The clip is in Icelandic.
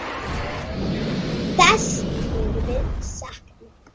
Þess munum við sakna.